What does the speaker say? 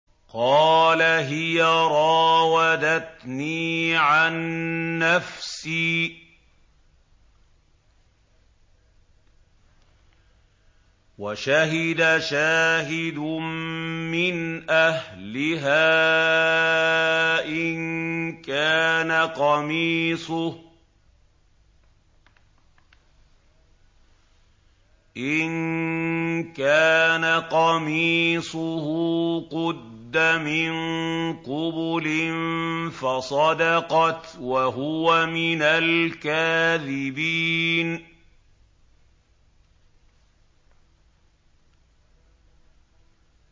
قَالَ هِيَ رَاوَدَتْنِي عَن نَّفْسِي ۚ وَشَهِدَ شَاهِدٌ مِّنْ أَهْلِهَا إِن كَانَ قَمِيصُهُ قُدَّ مِن قُبُلٍ فَصَدَقَتْ وَهُوَ مِنَ الْكَاذِبِينَ